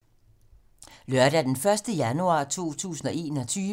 Lørdag d. 1. januar 2022